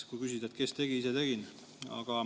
Kui küsida, et kes tegi, siis ise tegin.